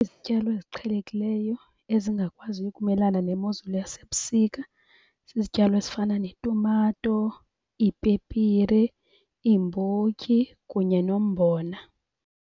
Izityalo eziqhelekileyo ezingakwaziyo ukumelana nemozulu yasebusika zizityalo ezifana netumato, iipepire, iimbotyi kunye nombona.